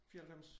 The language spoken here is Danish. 94?